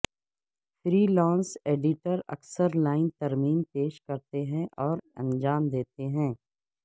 free lance editors اکثر line ترمیم پیش کرتے ہیں اور انجام دیتے ہیں